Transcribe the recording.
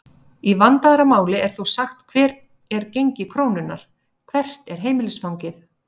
Í vandaðra máli er þó sagt hvert er gengi krónunnar?, hvert er heimilisfangið?